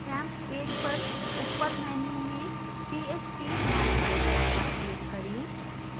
xampp page पर ऊपर menu में phpmyadmin पर click करें